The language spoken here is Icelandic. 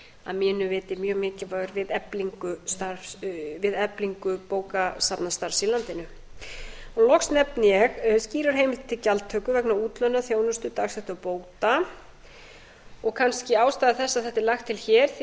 að mínu viti mjög mikilvægur við eflingu bókasafnastarfs í landinu loks nefni ég skýra heimild til gjaldtöku vegna útlánaþjónustu dagsekta bóta og kannski ástæða þess að þetta er lagt til hér því eins